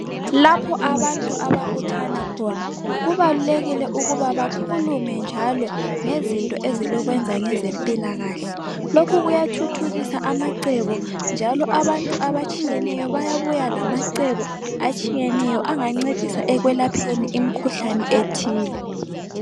Lapho abantu ababuthana khona kubalulekile ukuba bakhulume njalo ngezinto ezilokwenza ngempilakahle. Lokhu kuyathuthukisa amacebo njalo abantu abatshiyeneyo bayabuya lamacebo atshiyeneyo angancedisa ekwelapheni imikhuhlane ethile.